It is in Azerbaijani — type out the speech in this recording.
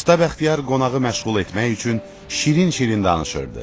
Usta Bəxtiyar qonağı məşğul etmək üçün şirin-şirin danışırdı.